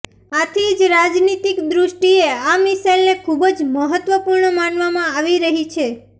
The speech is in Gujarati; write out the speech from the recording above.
આથી જ રાજનીતિક દૃષ્ટિએ આ મિસાઈલને ખૂબ જ મહત્વપૂર્ણ માનવામાં આવી રહી છે